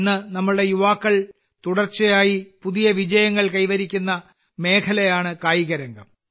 ഇന്ന് നമ്മുടെ യുവാക്കൾ തുടർച്ചയായി പുതിയ വിജയങ്ങൾ കൈവരിക്കുന്ന ഒരു മേഖലയാണ് കായികരംഗം